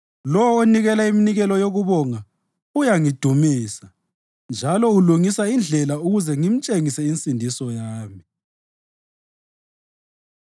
Lowo onikela iminikelo yokubonga uyangidumisa, njalo ulungisa indlela ukuze ngimtshengise insindiso yami.”